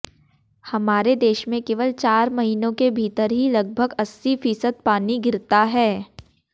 हमारे देश में केवल चार महीनों के भीतर ही लगभग अस्सी फीसद पानी गिरता है